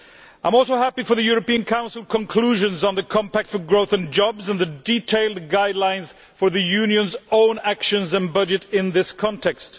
I am also happy about the European Council conclusions on the compact for growth and jobs and the detailed guidelines for the Union's own actions and budget in this context.